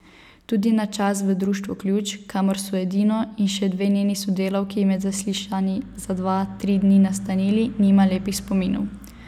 Tudi na čas v Društvu Ključ, kamor so Edino in še dve njeni sodelavki med zaslišanji za dva, tri dni nastanili, nima lepih spominov.